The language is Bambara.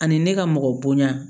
Ani ne ka mɔgɔ bonya